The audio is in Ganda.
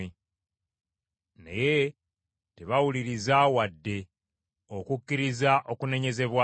Naye tebaawuliriza wadde okukkiriza okunenyezebwa.